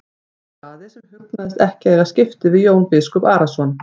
spurði Daði sem hugnaðist ekki að eiga skipti við Jón biskup Arason.